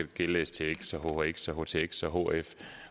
gælde stx og hhx og htx og hf